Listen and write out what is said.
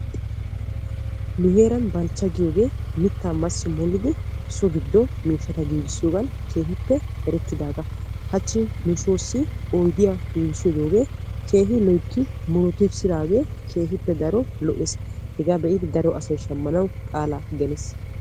mera balchcha giyooge kushe oosuwan keehippe erettidaaga, hachchi nuussi odiya massi murutissidooge keehippe daro lo''ees, hega be'idi daro asay shammanaw qaala geliis.